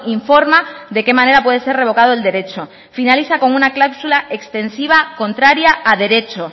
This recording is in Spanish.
informa de qué manera puede ser revocado el derecho finaliza con una cláusula extensiva contraria a derecho